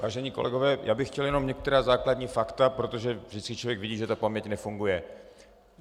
Vážení kolegové, já bych chtěl jenom některá základní fakta, protože vždycky člověk vidí, že ta paměť nefunguje.